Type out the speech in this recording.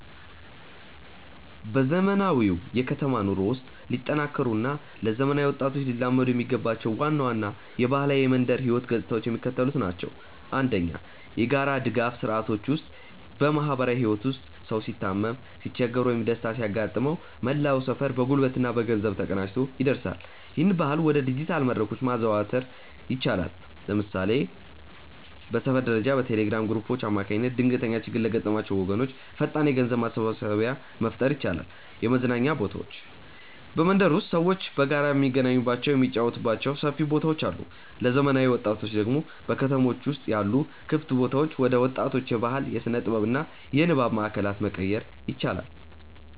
በዘመናዊው የከተማ ኑሮ ውስጥ ሊጠናከሩ እና ለዘመናዊ ወጣቶች ሊላመዱ የሚገባቸው ዋና ዋና የባህላዊ የመንደር ህይወት ገጽታዎች የሚከተሉት ናቸው፦ 1. የጋራ ድጋፍ ስርዓቶች ውስጥ በማህበራዊ ህይወት ውስጥ ሰው ሲታመም፣ ሲቸገር ወይም ደስታ ሲያጋጥመው መላው ሰፈር በጉልበትና በገንዘብ ተቀናጅቶ ይደርሳል። ይህንን ባህል ወደ ዲጂታል መድረኮች ማዛወር ይቻላል። ለምሳሌ በሰፈር ደረጃ በቴሌግራም ግሩፖች አማካኝነት ድንገተኛ ችግር ለገጠማቸው ወገኖች ፈጣን የገንዘብ ማሰባሰቢያ መፍጠር ይቻላል። 2. የመዝናኛ ቦታዎች በመንደር ውስጥ ሰዎች በጋራ የሚገናኙባቸው፣ የሚጫወቱባቸው ሰፊ ቦታዎች አሉ። ለዘመናዊ ወጣቶች ደግሞ በከተሞች ውስጥ ያሉ ክፍት ቦታዎችን ወደ ወጣቶች የባህል፣ የስነ-ጥበብ እና የንባብ ማእከላት መቀየር ይቻላል።